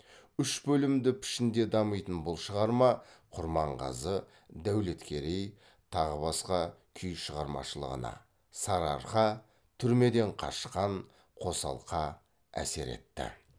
үш бөлімді пішінде дамитын бұл шығарма құрманғазы дәулеткерей тағы басқа күй шығармашылығына әсер етті